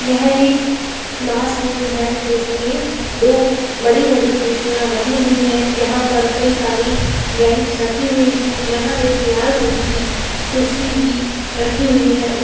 यह एक क्लासरूम है जिसमें दो बड़ी-बड़ी खिड़कियां लगी हुई है यहां पर कई सारी ब्रेंच रखी हुई है यहां एक लाल रंग की कुर्सी भी रखी हुई है ऊ --